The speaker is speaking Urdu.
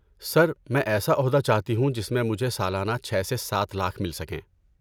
سر، میں ایسا عہدہ چاہتی ہوں جس میں مجھے سالانہ چھے سے سات لاکھ مل سکیں